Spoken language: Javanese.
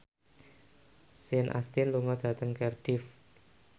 Sean Astin lunga dhateng Cardiff